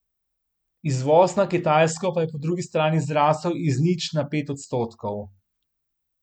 Izvoz na Kitajsko pa je po drugi strani zrasel iz nič na pet odstotkov.